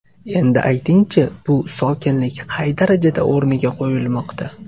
Endi ayting-chi, bu sokinlik qay darajada o‘rniga qo‘yilmoqda?